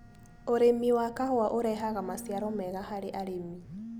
ũrĩmi wa kahũa ũrehaga maciaro mega harĩ arĩmi.